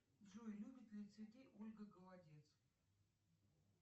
джой любит ли цветы ольга голодец